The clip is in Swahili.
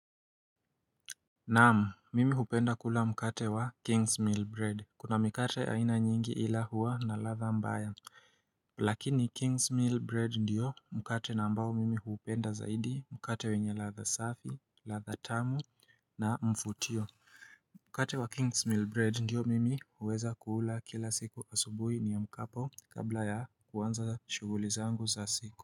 Naam mimi hupenda kula mkate wa king's meal bread kuna mikate aina nyingi ila hua na ladha mbaya Lakini king's meal bread ndiyo mkate na ambao mimi hupenda zaidi mkate wenye ladha safi ladha tamu na mfutio Mkate wa king's meal bread ndiyo mimi huweza kuula kila siku asubuhi niamkapo kabla ya kuanza shuguli zangu za siku.